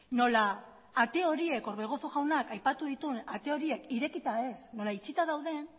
nola ate horiek orbegozo jaunak aipatu dituen ate horiek irekita ez nola itxita dauden